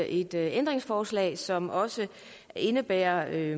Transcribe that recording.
et ændringsforslag som også indebærer at